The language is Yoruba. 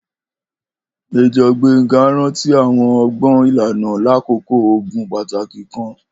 Major Gbenga ranti awọn ọgbọn ilana lakoko ogun pataki kan.